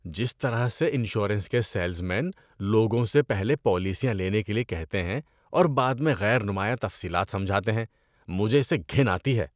جس طرح سے انشورنس کے سیلز مین لوگوں سے پہلے پالیسیاں لینے کے لیے کہتے ہیں اور بعد میں غیر نمایاں تفصیلات سمجھاتے ہیں، مجھے اس سے گھن آتی ہے۔